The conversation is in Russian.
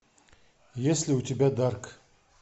есть ли у тебя дарк